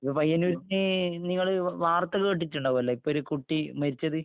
ഇപ്പൊ പയ്യന്നൂര് ന്... നിങ്ങള് വാർത്ത കേട്ടിട്ടുണ്ടാകുമല്ലോ... ഇപ്പൊ ഒരു കുട്ടി മരിച്ചത്...